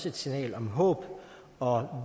et signal om håb og